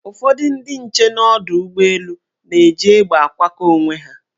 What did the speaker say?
Ụfọdị ndị nche n' ọdọụgbọelu na-eji egbe akwakọ onwe ha.